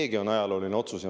Seegi on ajalooline otsus.